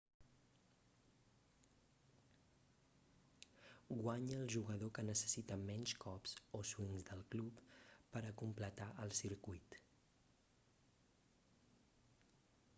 guanya el jugador que necessita menys cops o swings del club per a completar el circuit